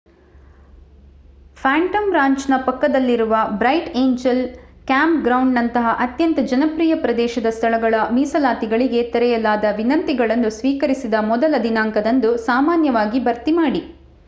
Phantom ರಾಂಚ್‌ನ ಪಕ್ಕದಲ್ಲಿರುವ Bright Angel ಕ್ಯಾಂಪ್‌ಗ್ರೌಂಡ್‌ನಂತಹ ಅತ್ಯಂತ ಜನಪ್ರಿಯ ಪ್ರದೇಶದ ಸ್ಥಳಗಳ, ಮೀಸಲಾತಿಗಳಿಗೆ ತೆರೆಯಲಾದ ವಿನಂತಿಗಳನ್ನು ಸ್ವೀಕರಿಸಿದ ಮೊದಲ ದಿನಾಂಕದಂದು ಸಾಮಾನ್ಯವಾಗಿ ಭರ್ತಿ ಮಾಡಿ